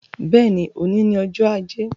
Bẹ́ẹ̀ni, òní ni ọjọ́ ajé.